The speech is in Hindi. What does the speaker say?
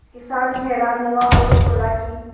किसान हैरान हुआ और बोला कि